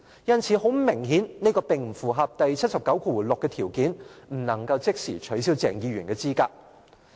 因此，很明顯這並不符合第七十九條第六項的條件，不能即時取消鄭議員的資格。